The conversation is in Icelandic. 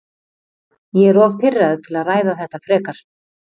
Ég er of pirraður til að ræða þetta frekar.